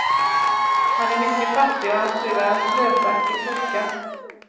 Han är mycket fattig och hans fru är en slösaktig toka.